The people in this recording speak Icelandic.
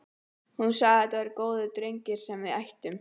Hún sagði að þetta væri góður drengur sem við ættum.